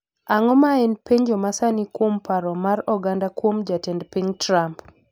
Ang'o ma en penjo masani kuom paro mar oganda kuom jatend piny Trump